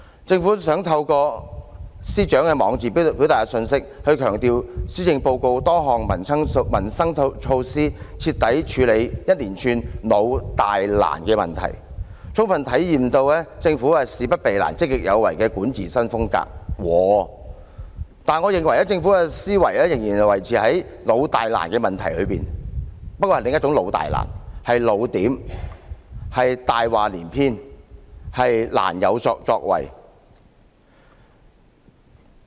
政府想透過司長的網誌表達一個信息，強調施政報告多項民生措施徹底處理一連串"老、大、難"的問題，充分體現所謂政府事不避難、積極有為的管治新風格，但我認為政府的思維仍然維持在"老、大、難"的問題當中，不過是另一種的"老、大、難"——"老點"、"大話連篇"、"難有作為"。